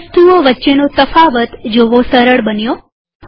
હવે વસ્તુઓ વચ્ચેનો તફાવત જોવો સરળ બન્યો